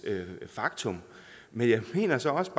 faktum men jeg mener så også